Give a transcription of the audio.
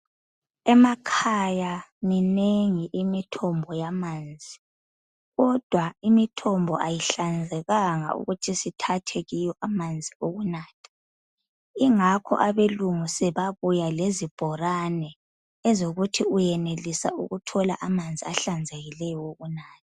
Emakhaya minengi imithombo yamanzi kodwa imithombo ayihlanzekanga ukuthi sithathe kiyo amanzi okunatha ingakho abelungu sebabuya lezibhorane ezokuthi uyenelisa ukuthola amanzi ahlanzekileyo okunatha.